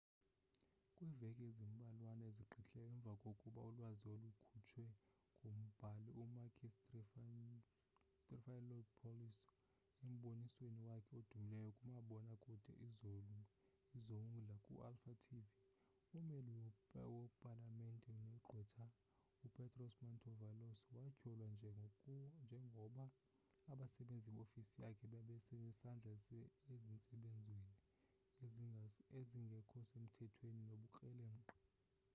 kwiiveki ezimbalwana ezigqithileyo emvakoba ulwazi olukhutshwe ngumbhali u-makis triantafylopoulos embonisweni wakhe odumileyo kumabona kude izoungla ku-alpha tv ummeli wo-palamente negqwetha upetros mantaouvalos watyholwa njengoba abasenzi be-ofisi yakhe babenesandla ezintsebenzweni ezingekhosemthethweni nobukrelemnqa